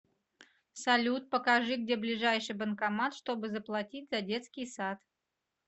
салют покажи где ближайший банкомат чтобы заплатить за детский сад